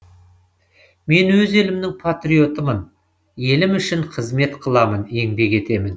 мен өз елімнің патриотымын елім үшін қызмет қыламын еңбек етемін